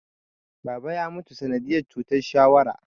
Baba ya mutu sanadiyar cutar shawara